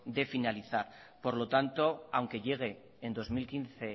de finalizar por lo tanto aunque llegue en dos mil quince